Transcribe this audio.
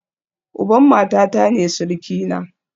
Uban matata ne surukina